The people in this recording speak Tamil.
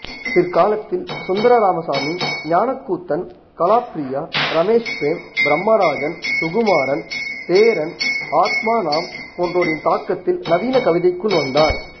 பிற்காலத்தில் சுந்தர ராமசாமி ஞானக்கூத்தன் கலாப்ரியா ரமேஷ்பிரேம் பிரம்மராஜன் சுகுமாரன் சேரன் ஆத்மாநாம் போன்றோரின் தாக்கத்தில் நவீன கவிதைக்குள் வந்தார்